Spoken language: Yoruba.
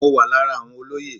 Mo wà lára àwọn olóyè.